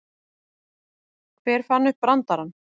Hver fann upp brandarann?